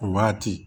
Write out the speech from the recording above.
O waati